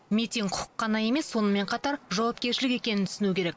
митинг құқық қана емес сонымен қатар жауапкершілік екенін түсіну керек